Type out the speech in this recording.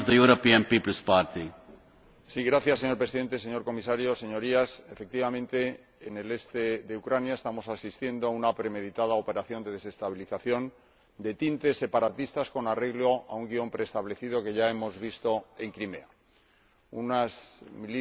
Señor Presidente, señor Comisario, Señorías, efectivamente en el este de Ucrania estamos asistiendo a una premeditada operación de desestabilización de tintes separatistas con arreglo a un guion preestablecido que ya hemos visto en Crimea unas milicias de autodefensa, sedicentemente civiles,